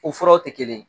O furaw tɛ kelen ye